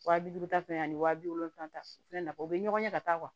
Wa bi duuru ta ani waa bi wolonwula ta o fɛnɛ na o bɛ ɲɔgɔn ɲɛ ka taa